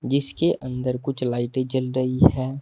जिसके अंदर कुछ लाइटे जल रही है।